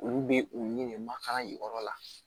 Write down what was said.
Olu bɛ u ni de makala jukɔrɔla la